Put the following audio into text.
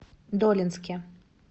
долинске